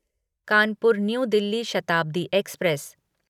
Kanpur new Delhi Shatabdi express